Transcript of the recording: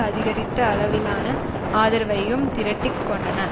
அதிகரித்த அளவிலான ஆதரவையும் திரட்டி கொண்டன